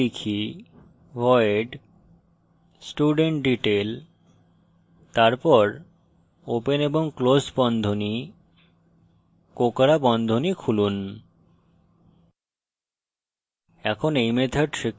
তাই আমি type void studentdetail তারপর open এবং ক্লোস বন্ধনী কোঁকড়া বন্ধনী খুলুন